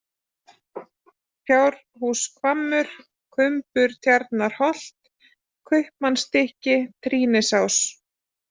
Fjárhúshvammur, Kumburtjarnarholt, Kaupamannsstykki, Trýnisás